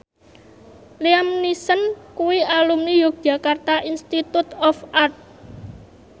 Liam Neeson kuwi alumni Yogyakarta Institute of Art